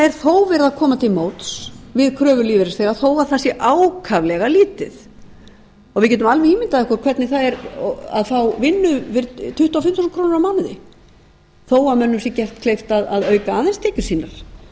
er þó verið að koma til móts við kröfur lífeyrisþega þó að það sé ákaflega lítið við getum alveg ímyndað okkur hvernig það er að fá vinnu fyrir tuttugu og fimm þúsund krónur á mánuði þó að mönnum sé gert kleift að auka aðeins